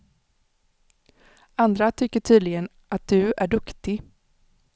Andra tycker tydligen att du är duktig.